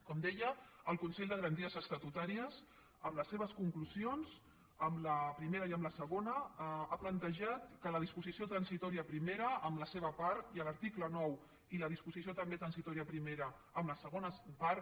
com deia el consell de garanties estatutàries en les seves conclusions en la primera i en la segona ha plantejat que la disposició transitòria primera en la seva part i l’article nou i la disposició també transitòria primera en la segona part